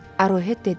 Arohet dedi.